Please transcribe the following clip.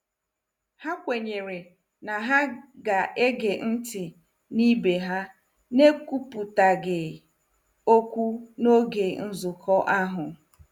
Ha kwenyere na ha ga-ege ntị n'ibe ha n'ekwupụtaghị okwu n'oge nzukọ ahụ.